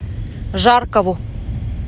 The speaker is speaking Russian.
жаркову